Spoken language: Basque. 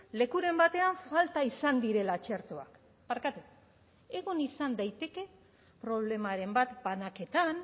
lekuren batean falta izan direla txertoak barkatu egon izan daiteke problemaren bat banaketan